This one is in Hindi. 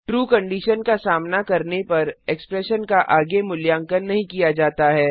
ट्रू कंडीशन का सामना करने पर एक्सप्रेशन का आगे मूल्यांकन नहीं किया जाता है